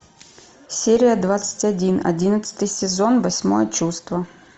серия двадцать один одиннадцатый сезон восьмое чувство